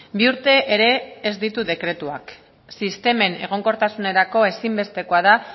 bi urte ere ez ditu dekretuak sistemen egonkortasunerako ezinbestekoa da